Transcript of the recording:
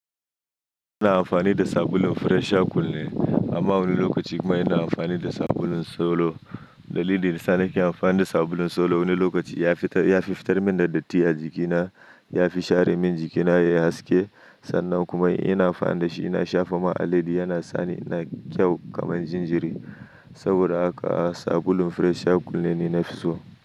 Ina amfani da sabulun Fresh Aqualine amma wani lokaci kuma ina amfani da sabulun Solo. Dalilin da ya saka nake amfani da sabulun Solo wani lokaci ya fi fitar min da datti a jikina. Ya fi share min jikina yayi haske sannan kuma idan ina amfani da shi ina shafa man alaiyadi yana sa ni ina yin kyau kamar jinjiri. Saboda haka sabulun Fresh Aqualine ne na fi so.